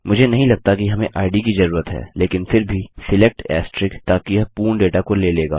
मुझे नहीं लगता कि हमें इद की जरूरत है लेकिन फिर भीSELECT ताकि यह पूर्ण डेटा को ले लेगा